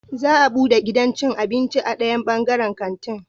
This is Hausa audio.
Za a bude gidan cin abinci a dayan bangaren kanti